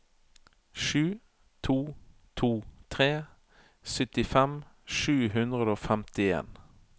sju to to tre syttifem sju hundre og femtien